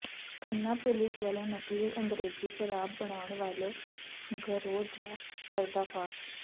Khanna police ਵੱਲੋਂ ਨਕਲੀ ਅੰਗਰੇਜ਼ੀ ਸ਼ਰਾਬ ਬਣਾਉਣ ਵਾਲੇ ਗਰੋਹ ਦਾ ਪਰਦਾਫ਼ਾਸ਼